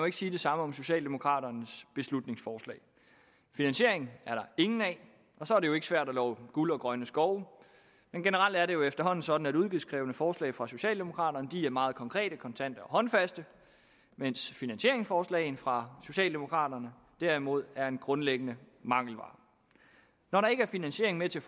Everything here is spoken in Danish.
ikke sige det samme om socialdemokraternes beslutningsforslag finansiering er der ingen af og så er det jo ikke svært at love guld og grønne skove men generelt er det jo efterhånden sådan at udgiftskrævende forslag fra socialdemokraterne er meget konkrete kontante og håndfaste mens finansieringsforslag fra socialdemokraterne derimod er en grundlæggende mangelvare når der ikke er finansiering med til